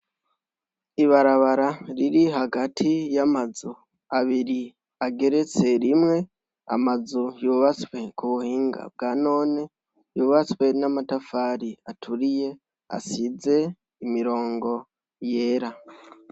Ibarabara riri hagati y'amazu abiri ageretse rimwe. Amazu yubatswe ku buhinga bwa none yubatswe n'amatafari aturiye , asize imirongo yera.